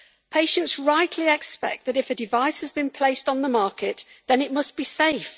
Patients rightly expect that if a device has been placed on the market, then it must be safe.